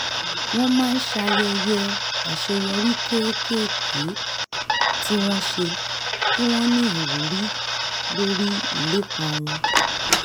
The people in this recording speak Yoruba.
wọ́n máa ń ṣayẹyẹ àṣeyọrí kéékèèké tí wọ́n ṣe kí wọ́n ní ìwúrí lórí ìlépa wọn